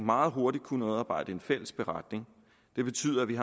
meget hurtigt kunne udarbejde en fælles beretning det betyder at vi